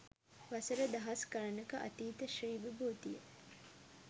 වසර දහස් ගණනක අතීත ශ්‍රී විභූතිය